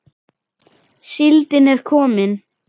Síldin er komin!